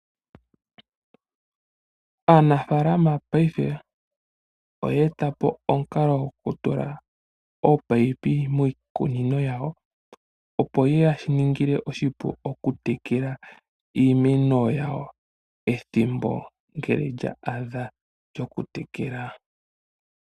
Aanafalama paife oya eta po omukalo gokutula ominino miikunino yawo opo yeshi ya ningile oshipu okutekela iimeno yawo ethimbo ngele lya adha lyokutekela.